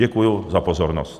Děkuju za pozornost.